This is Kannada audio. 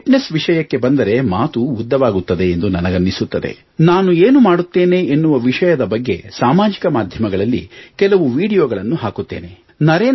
ಇನ್ನು ಫಿಟ್ನೆಸ್ ವಿಷಯಕ್ಕೆ ಬಂದರೆ ಮಾತು ಉದ್ದವಾಗುತ್ತದೆ ಎಂದು ನನಗನ್ನಿಸುತ್ತದೆ ನಾನು ಹೀಗೆ ಮಾಡುತ್ತೇನೆ ನಾನು ಏನು ಮಾಡುತ್ತೇನೆ ಎನ್ನುವ ವಿಷಯದ ಬಗ್ಗೆ ಸಾಮಾಜಿಕ ಮಾಧ್ಯಮಗಳಲ್ಲಿ ಕೆಲವು ವೀಡಿಯೊಗಳನ್ನು ಹಾಕುತ್ತೇನೆ